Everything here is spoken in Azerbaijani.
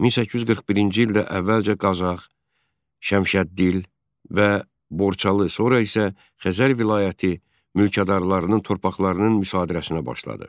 1841-ci ildə əvvəlcə Qazax, Şəmşəddil və Borçalı, sonra isə Xəzər vilayəti mülkədarlarının torpaqlarının müsadirəsinə başladı.